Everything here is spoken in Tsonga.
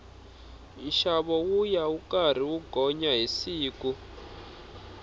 nxavo wuya wu karhi wu gonya hi siku